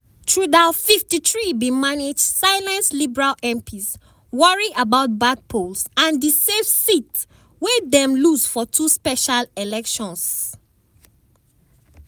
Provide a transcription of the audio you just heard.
trudeau 53 bin manage silence liberal mps worry about bad polls and di safe seats wey dem lose for two special elections.